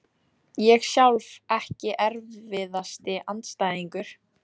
Ég sjálf Ekki erfiðasti andstæðingur?